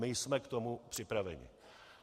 My jsme k tomu připraveni.